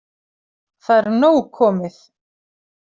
Það er nóg komið